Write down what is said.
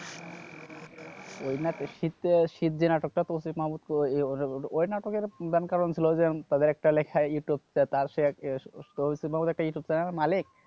ওই নাটক, শীতে শীত যে নাটকটা তৌসিফ মাহমুদ ওই নাটকের প্রধান কারণ ছিল যে তাদের একটা লেখা ইউটিউব paper একটা ইউটিউব channel এর মালিক